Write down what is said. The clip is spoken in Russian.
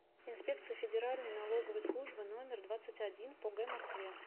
инспекция федеральной налоговой службы номер двадцать один по г москве